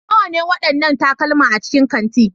Nawa ne waɗannan takalma a cikin kanti?